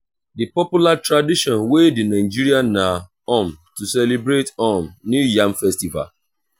di popular tradition wey de nigeria na um to celebrate um new yam festival